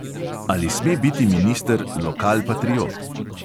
Ali sme biti minister lokalpatriot?